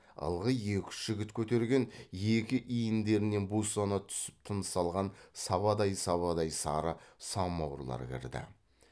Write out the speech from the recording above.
ылғи екі үш жігіт көтерген екі иіндерінен бусана түсіп тыныс алған сабадай сабадай сары самауырлар кірді